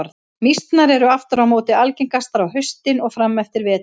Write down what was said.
Mýsnar eru aftur á móti algengastar á haustin og fram eftir vetri.